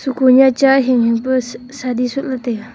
heko hi chahi ni pura shadi sohley taiga.